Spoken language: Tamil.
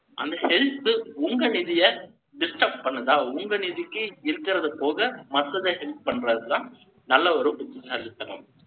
அந்த health, உங்க நிதியை, disturb பண்ணுதா? உங்க நிதிக்கு, இருக்கிறது போக, மத்ததை help பண்றதுதான் நல்ல ஒரு புத்திசாலித்தனம்.